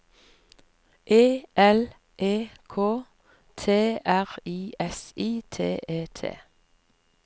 E L E K T R I S I T E T